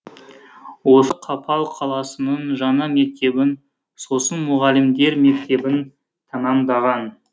осы қапал қаласының жаңа мектебін сосын мұғалімдер мектебін тәмамдаған